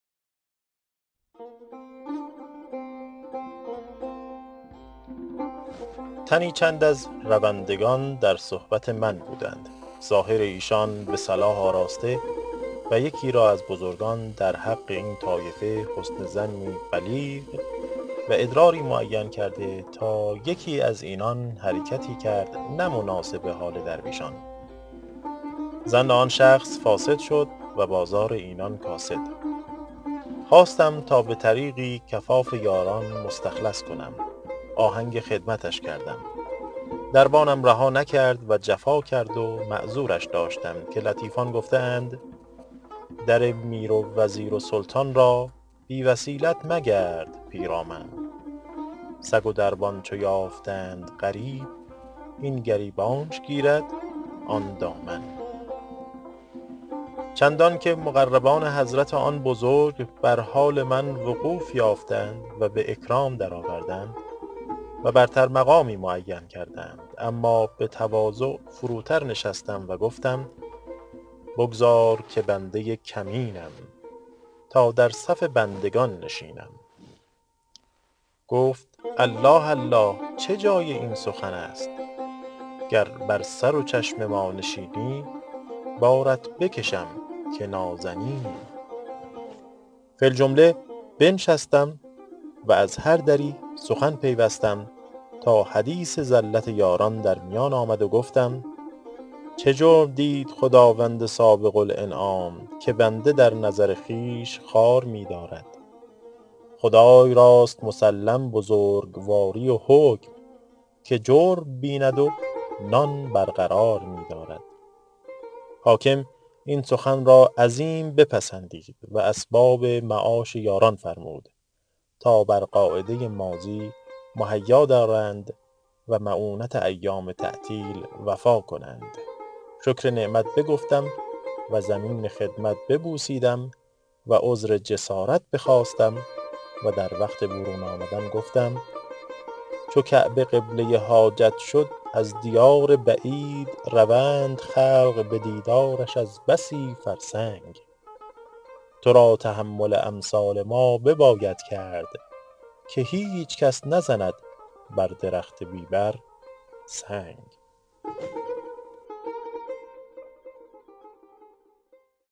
تنی چند از روندگان در صحبت من بودند ظاهر ایشان به صلاح آراسته و یکی را از بزرگان در حق این طایفه حسن ظنی بلیغ و ادراری معین کرده تا یکی از اینان حرکتی کرد نه مناسب حال درویشان ظن آن شخص فاسد شد و بازار اینان کاسد خواستم تا به طریقی کفاف یاران مستخلص کنم آهنگ خدمتش کردم دربانم رها نکرد و جفا کرد و معذورش داشتم که لطیفان گفته اند در میر و وزیر و سلطان را بی وسیلت مگرد پیرامن سگ و دربان چو یافتند غریب این گریبانش گیرد آن دامن چندان که مقربان حضرت آن بزرگ بر حال وقوف من وقوف یافتند و به اکرام درآوردند و برتر مقامی معین کردند اما به تواضع فروتر نشستم و گفتم بگذار که بنده کمینم تا در صف بندگان نشینم گفت الله الله چه جای این سخن است گر بر سر و چشم ما نشینی بارت بکشم که نازنینی فی الجمله بنشستم و از هر دری سخن پیوستم تا حدیث زلت یاران در میان آمد و گفتم چه جرم دید خداوند سابق الانعام که بنده در نظر خویش خوار می دارد خدای راست مسلم بزرگواری و حکم که جرم بیند و نان برقرار می دارد حاکم این سخن را عظیم بپسندید و اسباب معاش یاران فرمود تا بر قاعده ماضی مهیا دارند و مؤونت ایام تعطیل وفا کنند شکر نعمت بگفتم و زمین خدمت ببوسیدم و عذر جسارت بخواستم و در وقت برون آمدن گفتم چو کعبه قبله حاجت شد از دیار بعید روند خلق به دیدارش از بسی فرسنگ تو را تحمل امثال ما بباید کرد که هیچ کس نزند بر درخت بی بر سنگ